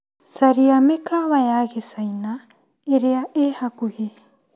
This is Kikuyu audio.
Caria mĩkawa ya Gĩcaina ĩrĩa ĩhakuhĩ.